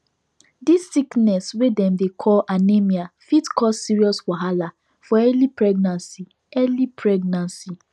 this sickness wey dem dey call anemia fit cause serious wahala for early pregnancy early pregnancy